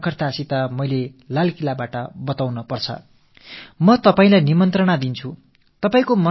அதை செங்கோட்டைக் கொத்தளத்திலிருந்து தெளிவுபட உரைக்க நான் உங்களுக்கு ஒரு அழைப்பு விடுக்கிறேன்